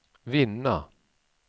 vinna